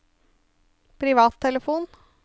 privattelefon